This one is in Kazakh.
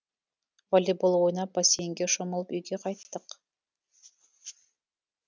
волейбол ойнап бассейнге шомылып үйге қайттық